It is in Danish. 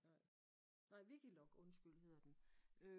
Nej Wikilog undskyld hedder den